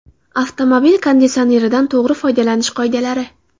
Avtomobil konditsioneridan to‘g‘ri foydalanish qoidalari.